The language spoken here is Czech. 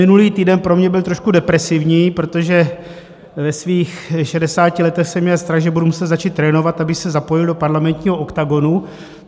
Minulý týden pro mě byl trošku depresivní, protože ve svých šedesáti letech jsem měl strach, že budu muset začít trénovat, abych se zapojil do parlamentního oktagonu.